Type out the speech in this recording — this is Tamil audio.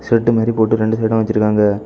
பெட்டு மாரி போட்டு ரெண்டு சைடும் வச்சிருக்காங்க.